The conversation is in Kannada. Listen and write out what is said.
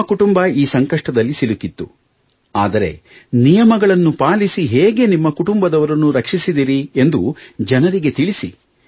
ನಿಮ್ಮ ಕುಟುಂಬ ಈ ಸಂಕಷ್ಟದಲ್ಲಿ ಸಿಲುಕಿತ್ತು ಆದರೆ ನಿಯಮಗಳನ್ನು ಪಾಲಿಸಿ ಹೇಗೆ ನಿಮ್ಮ ಕುಟುಂಬದವರನ್ನು ರಕ್ಷಿಸಿದಿರಿ ಎಂದು ಜನರಿಗೆ ತಿಳಿಸಿ